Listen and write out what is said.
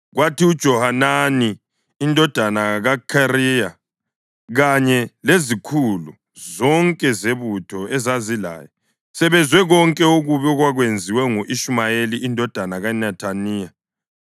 Kwathi uJohanani indodana kaKhareya kanye lezikhulu zonke zebutho ezazilaye sebezwe konke okubi okwakwenziwe ngu-Ishumayeli indodana kaNethaniya,